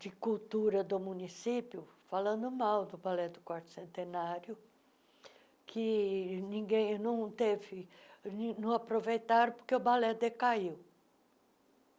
de cultura do município, falando mal do balé do quarto centenário, que ninguém não teve... não aproveitaram porque o balé decaiu.